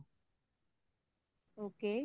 okay